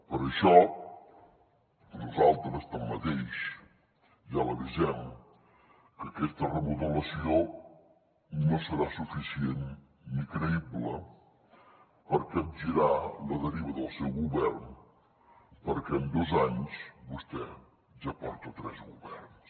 per això nosaltres tanmateix ja l’avisem que aquesta remodelació no serà suficient ni creïble per capgirar la deriva del seu govern perquè en dos anys vostè ja porta tres governs